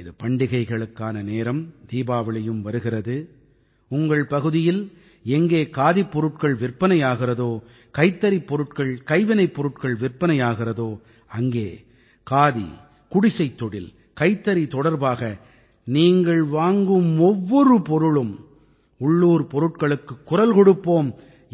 இது பண்டிகைகளுக்கான நேரம் தீபாவளியும் வருகிறது உங்கள் பகுதியில் எங்கே காதிப்பொருட்கள் விற்பனை ஆகிறதோ கைத்தறிப் பொருட்கள்கைவினைப் பொருட்கள் விற்பனை ஆகிறதோ அங்கே காதி குடிசைத் தொழில் கைத்தறி தொடர்பாக நீங்கள் வாங்கும் ஒவ்வொரு பொருளும் உள்ளூர் பொருட்களுக்குக் குரல் கொடுப்போம்